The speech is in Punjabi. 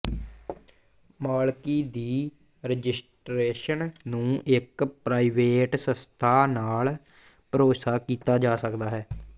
ਮਾਲਕੀ ਦੀ ਰਜਿਸਟਰੇਸ਼ਨ ਨੂੰ ਇੱਕ ਪ੍ਰਾਈਵੇਟ ਸੰਸਥਾ ਨਾਲ ਭਰੋਸਾ ਕੀਤਾ ਜਾ ਸਕਦਾ ਹੈ